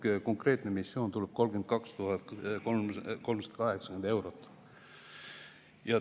Tähendab, konkreetsele missioonile kulub 32 380 eurot.